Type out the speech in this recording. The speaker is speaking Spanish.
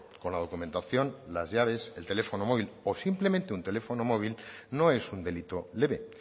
con la documentación las llaves el teléfono móvil o simplemente un teléfono móvil no es un delito leve